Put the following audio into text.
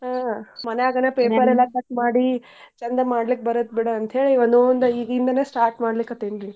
ಹಾ ಮನ್ಯಾಗನ paper ಎಲ್ಲಾ cut ಮಾಡಿ ಚಂದ್ ಮಾಡ್ಲಿಕ್ ಬರುತ್ ಬಿಡು ಅಂತ್ಹೇಳಿ ಒಂದೊಂದ ಈಗಿಂದನ start ಮಾಡ್ಲೀಕತ್ತೇನ್ ರೀ.